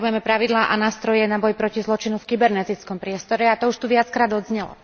Potrebujeme pravidlá a nástroje na boj proti zločinu v kybernetickom priestore, a to už tu viackrát odznelo.